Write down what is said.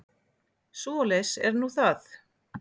Svoleiðis er nú það.